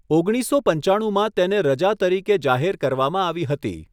ઓગણીસસો પચ્ચાણુંમાં તેને રજા તરીકે જાહેર કરવામાં આવી હતી.